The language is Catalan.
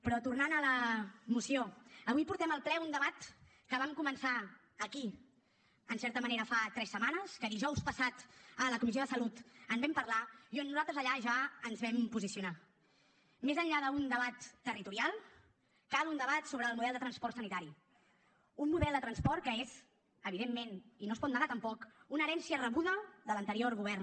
però tornant a la moció avui portem al ple un debat que vam començar aquí en certa manera fa tres setmanes que dijous passat a la comissió de salut en vam parlar i on nosaltres allà ja ens vam posicionar més enllà d’un debat territorial cal un debat sobre el model de transport sanitari un model de transport que és evidentment i no es pot negar tampoc una herència rebuda de l’anterior govern